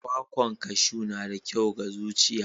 kwakwan kaju na da kyau ga zuciya.